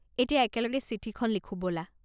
এতিয়া একেলগে চিঠিখন লিখো ব'লা।